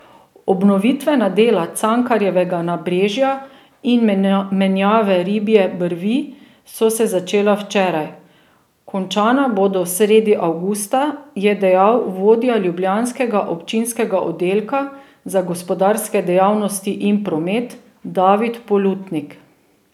Obnovitvena dela Cankarjevega nabrežja in menjave Ribje brvi so se začela včeraj, končana bodo sredi avgusta, je dejal vodja ljubljanskega občinskega oddelka za gospodarske dejavnosti in promet David Polutnik.